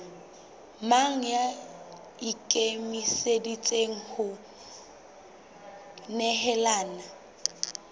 mang ya ikemiseditseng ho nehelana